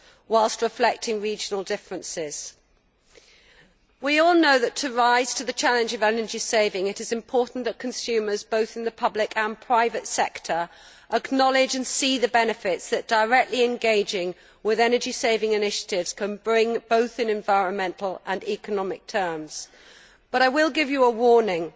whilst reflecting regional differences. We all know that, to rise to the challenge of energy saving, it is important that consumers both in the public and private sectors acknowledge and see the benefits which directly engaging with energy saving initiatives can bring both in environmental and economic terms, but I will give you a warning